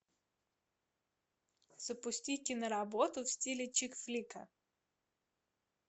запусти киноработу в стиле чик флика